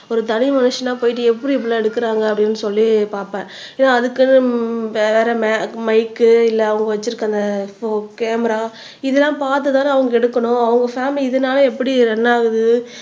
ஒரு தனி மனுஷனா போயிட்டு எப்படி இப்படி எல்லாம் எடுக்குறாங்க அப்படின்னு சொல்லி பாப்பேன் ஏன்னா அதுக்குன்னு வேற மைக் இல்லை அவங்க வச்சிருக்கிற அந்த கேமரா இதெல்லாம் பார்த்துதானே அவங்க எடுக்கணும் அவங்க பாமிலி இதனால எப்படி ரன் ஆகுது